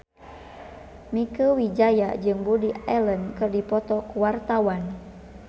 Mieke Wijaya jeung Woody Allen keur dipoto ku wartawan